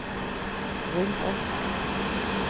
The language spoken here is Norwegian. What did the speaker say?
rull opp